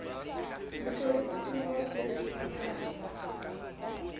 motjodi o tono se sephatswa